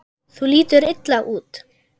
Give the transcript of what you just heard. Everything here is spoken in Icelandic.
Þú lítur illa út